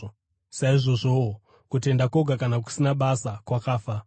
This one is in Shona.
Saizvozvowo, kutenda kwoga, kana kusina basa, kwakafa.